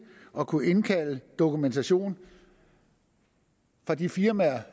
at kunne indkalde dokumentation fra de firmaer